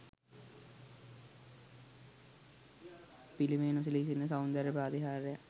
පිළිමය නොසැලී සිටින සෞන්දර්ය ප්‍රාතිහාර්යක්.